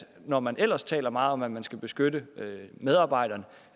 når man ellers taler meget om at man skal beskytte medarbejderne